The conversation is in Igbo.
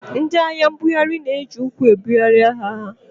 Ndị ahịa mbugharị na-eji ụkwụ ebugharị ahịa ha.